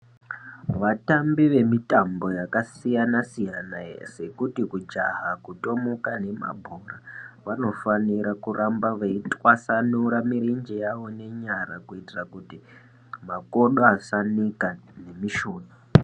Vatambi vemitambo yakasiyana-siyana sekuti kujaha, kutomuka nemabhora vanofanira kuramba veitwasanura mirenje yavo nenyara kuitira kuti makodo asanika nemishuna.